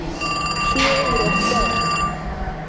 Fjögur börn.